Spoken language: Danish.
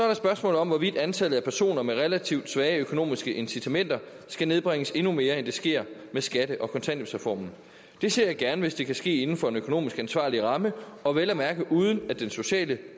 der spørgsmålet om hvorvidt antallet af personer med relativt svage økonomiske incitamenter skal nedbringes endnu mere end det sker med skatte og kontanthjælpsreformen det ser jeg gerne hvis det kan ske inden for en økonomisk ansvarlig ramme og vel at mærke uden at den sociale